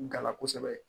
Gala kosɛbɛ